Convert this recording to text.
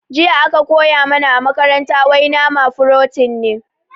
Jiya aka koya mana a makaranta wai nama furotin ne